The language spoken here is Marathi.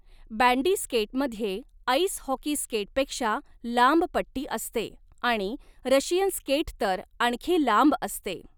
बँडी स्केटमध्ये आइस हॉकी स्केटपेक्षा लांब पट्टी असते आणि रशियन स्केट तर आणखी लांब असते.